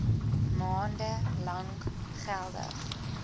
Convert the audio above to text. maande lank geldig